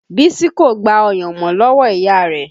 Bísí kò gba ọyàn mọ́ lọ́wọ́ ìyá rẹ̀